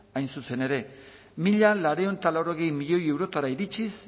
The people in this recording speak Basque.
hain zuzen ere mila laurehun eta laurogei milioi eurora iritsiz